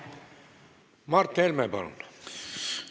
Mart Helme, palun!